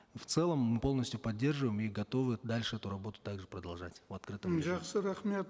в целом мы полностью поддерживаем и готовы дальше эту работу также продолжать в открытом жақсы рахмет